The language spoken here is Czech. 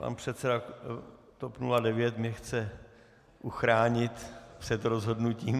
Pan předseda TOP 09 mě chce uchránit před rozhodnutím.